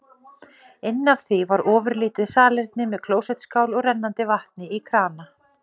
Inn af því var ofurlítið salerni með klósettskál og rennandi vatni í krana.